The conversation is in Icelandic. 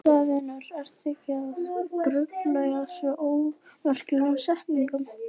Blessaður vinur, vertu ekki að grufla í þessum ómerkilegu setningum.